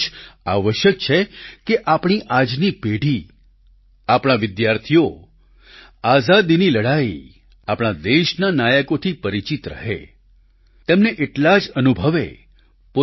એ બહુ જ આવશ્યક છે કે આપણી આજની પેઢી આપણા વિદ્યાર્થીઓ આઝાદીની લડાઈ આપણા દેશના નાયકોથી પરિચીત રહે તેમને એટલા જ અનુભવે